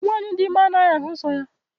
Nwaanyị dị ime anaghị ahụ nsọ ya.